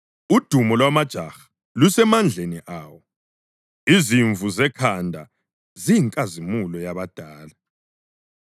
Udumo lwamajaha lusemandleni awo, izimvu zekhanda ziyinkazimulo yabadala.